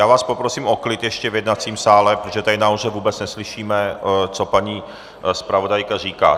Já vás poprosím o klid ještě v jednacím sále, protože tady nahoře vůbec neslyšíme, co paní zpravodajka říká.